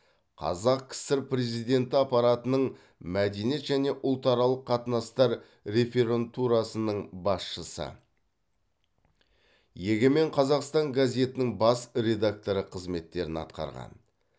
қазақ кср президенті аппаратының мәдениет және ұлтаралық қатынастар реферантурасының басшысы егемен қазақстан газетінің бас редакторы қызметтерін атқарған